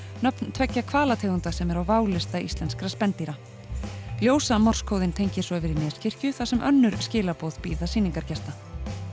nöfn tveggja hvalategunda sem eru á válista íslenskra spendýra tengir svo yfir í Neskirkju þar sem önnur skilaboð bíða sýningargesta